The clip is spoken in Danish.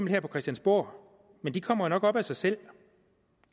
her på christiansborg men de kommer jo nok op af sig selv